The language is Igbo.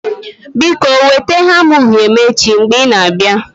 Biko weta hamma uhie m echi mgbe ị na-abịa.